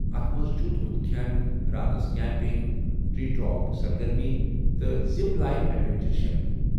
اتھ منٛز چھُ تُہُنٛد کھٮ۪ن، راتس کیمپنگ، ٹر٘ی ٹاپ سرگرمی، تہٕ زِپ لاین ایڈوینچر شٲمِل۔